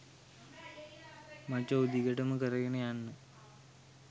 මචෝ දිගටම කරගෙන යන්න.